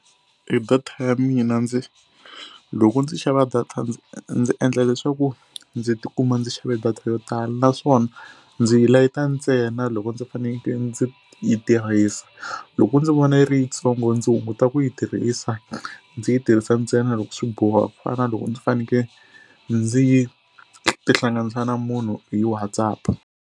E data ya mina ndzi loko ndzi xava data ndzi ndzi endla leswaku ndzi tikuma ndzi xave data yo tala naswona ndzi yi layita ntsena loko ndzi faneke ndzi yi tirhisa. Loko ndzi vona yi ri yitsongo ndzi hunguta ku yi tirhisa ndzi yi tirhisa ntsena loko swi boha ku fana loko ndzi faneke ndzi yi tihlanganisa na munhu hi WhatsApp.